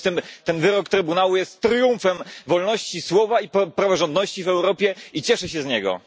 W związku z tym ten wyrok Trybunału jest triumfem wolności słowa i praworządności w Europie i cieszę się z niego.